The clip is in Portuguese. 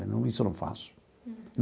Isso eu não faço.